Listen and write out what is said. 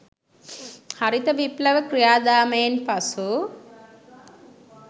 හරිත විප්ලව ක්‍රියා දාමයෙන් පසු